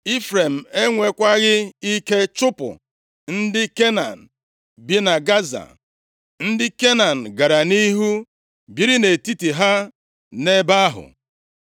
Ifrem enwekwaghị ike chụpụ ndị Kenan bi na Gaza. Ndị Kenan gara nʼihu biri nʼetiti ha nʼebe ahụ.